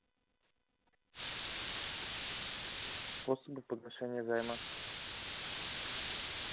способы погашения займа